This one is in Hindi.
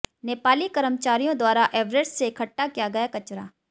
नेपाली कर्मचारियों द्वारा एवरेस्ट से इकट्ठा किया गया कचरा